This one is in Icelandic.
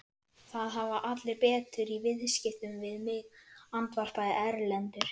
Það hafa allir betur í viðskiptum við mig, andvarpaði Erlendur.